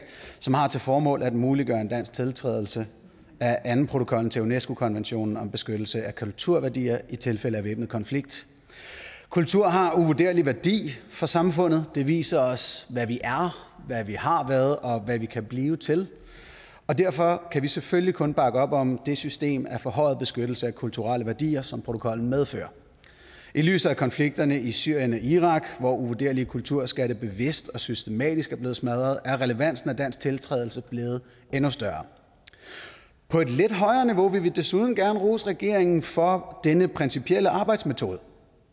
som har til formål at muliggøre en dansk tiltrædelse af andenprotokollen til unesco konventionen om beskyttelse af kulturværdier i tilfælde af væbnet konflikt kultur har en uvurderlig værdi for samfundet det viser os hvad vi er hvad vi har været og hvad vi kan blive til og derfor kan vi selvfølgelig kun bakke op om det system af forhøjet beskyttelse af kulturelle værdier som protokollen medfører i lyset af konflikterne i syrien og irak hvor uvurderlige kulturskatte bevidst og systematisk er blevet smadret er relevansen af en dansk tiltrædelse blevet endnu større på et lidt højere niveau vil vi desuden gerne rose regeringen for denne principielle arbejdsmetode